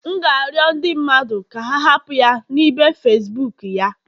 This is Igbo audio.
M ga-arịọ ndị mmadụ ka ha hapụ ya na ibe Facibuku ya